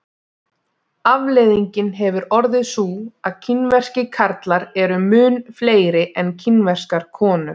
afleiðingin hefur orðið sú að kínverskir karlar eru mun fleiri en kínverskar konur